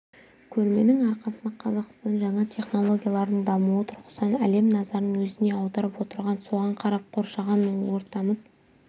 көрменің арқасында қазақстан жаңа технологиялардың дамуы тұрғысынан әлем назарын өзіне аударып отыр соған қарап қоршаған ортамыз